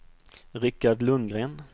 Rikard Lundgren